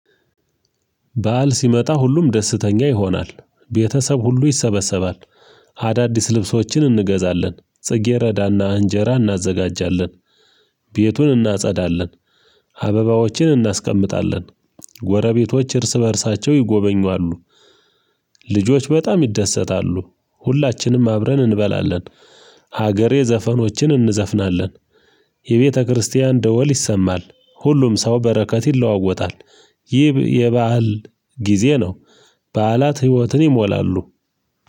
በዓል ሲመጣ ሁሉም ደስተኛ ይሆናል። ቤተሰብ ሁሉ ይሰበሰባል። አዳዲስ ልብሶችን እንገዛለን። ጽጌረዳና እንጀራ እናዘጋጃለን። ቤቱን እናጸዳለን። አበባዎችን እናስቀምጣለን። ጎረቤቶች እርስ በእርሳቸው ይጎበኙአሉ። ልጆች በጣም ይደሰታሉ። ሁላችንም አብረን እንበላለን። ሀገሬ ዘፈኖችን እንዘፍናለን። የቤተክርስቲያን ደወል ይሰማል። ሁሉም ሰው በረከት ይለዋወጣል። ይህ የበአል ጊዜ ነው። በዓላት ህይወትን ይሞላሉ።